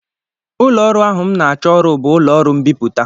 Ụlọọrụ ahụ m na-achọ ọrụ bụ ụlọọrụ mbipụta